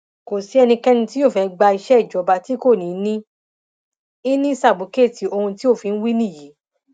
kò sí ẹnikẹni tí yóò fẹẹ gba iṣẹ ìjọba tí kò ní í ní sábúkẹẹtì ohun tí òfin wí nìyí